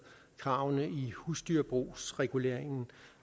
kravene i husdyrbrugsreguleringen